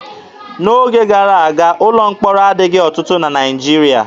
N'oge gara aga, ụlọ mkpọrọ adịghị ọtụtụ na Naịjirịa.